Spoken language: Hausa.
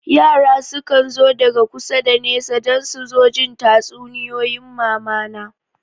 Yara sukan zo daga kusa da nesa don su zo jin tatsuniyoyin mamana